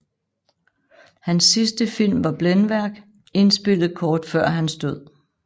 Hans sidste film var Blændværk indspillet kort før hans død